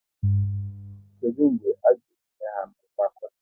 Kedụ mgbe a ga ebnuyi ha n'ọkwá konel?